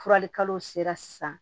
Furalikalo sera sisan